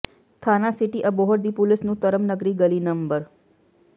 ਥਾਣਾ ਸਿਟੀ ਅਬੋਹਰ ਦੀ ਪੁਲਸ ਨੂੰ ਧਰਮ ਨਗਰੀ ਗਲੀ ਨੰ